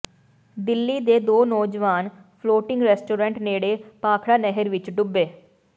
ਦਿੱਲੀ ਦੇ ਦੋ ਨੌਜਵਾਨ ਫਲੋਟਿੰਗ ਰੈਸਟੋਰੈਂਟ ਨੇੜੇ ਭਾਖੜਾ ਨਹਿਰ ਵਿੱਚ ਡੁੱਬੇ